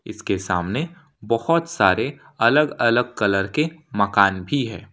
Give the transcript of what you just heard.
इसके सामने बहुत सारे अलग अलग कलर के मकान भी है।